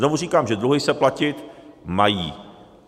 Znovu říkám, že dluhy se platit mají.